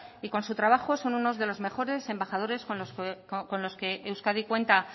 y con su trabajo son unos de los mejores embajadores con los que euskadi cuenta